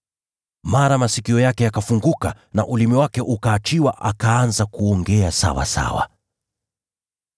Mara masikio yake yakafunguka na ulimi wake ukaachiliwa, akaanza kuongea sawasawa.